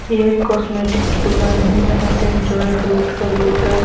यह कॉस्मेटिक की दुकान है जहां पे जॉय फ्रूट का लोटस